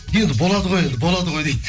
енді болады ғой енді болады ғой дейді